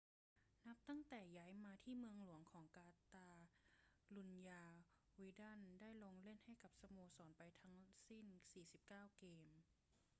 นับตั้งแต่ย้ายมาที่เมืองหลวงของกาตาลุญญา วิดัลได้ลงเล่นให้กับสโมสรไปทั้งสิ้น 49 เกม